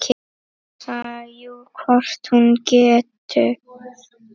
Hansa: Jú, hvort hún getur.